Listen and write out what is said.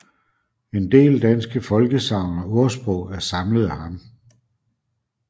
En del danske folkesagn og ordsprog er samlet af ham